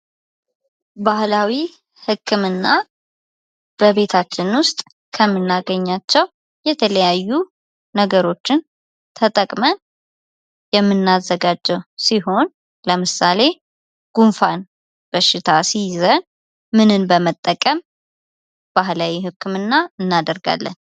ባህላዊ ህክምና በቤታችን ውስጥ ከመናገኛቸው የተለያዩ ነገሮችን ተጠቅመን የሚናዘጋጀው ሲሆን ለምሳሌ ጉንፋን በሽታ ሲይዘን ምንን በመጠቀም ባህላዊ ህክምና እናደርጋለን ?